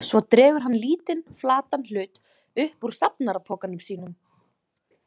Svo dregur hann lítinn, flatan hlut upp úr safnarapokanum sínum.